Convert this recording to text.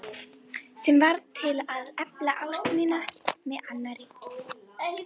Sem varð til að efla ást mína á annarri.